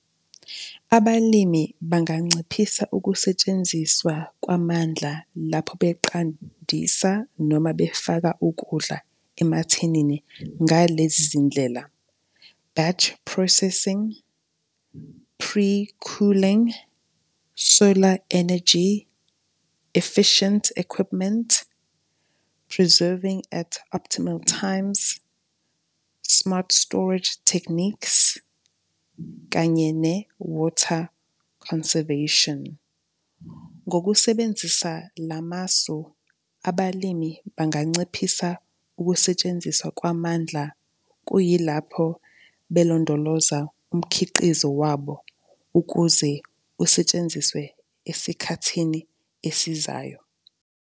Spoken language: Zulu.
Abalimi banginciphisa ukusetshenziswa kwamandla lapho beqandisa noma befaka ukudla emathinini ngalezi zindlela, batch processing, pre-cooling, solar energy, efficient equipment preserving at optimal times, smart storage techniques kanye ne-water conservation. Ngokusebenzisa la masu, abalimi banganciphisa ukusetshenziswa kwamandla kuyilapho belondoloza umkhiqizo wabo ukuze kusetshenziswe esikhathini esizayo.